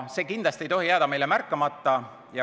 See kindlasti ei tohi jääda meile märkamata.